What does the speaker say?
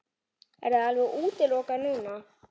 Er það alveg útilokað núna?